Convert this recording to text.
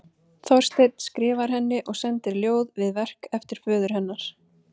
Þorsteinn skrifar henni og sendir ljóð við verk eftir föður hennar.